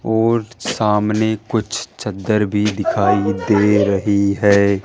और सामने कुछ चदर भी दिखाई दे रही है।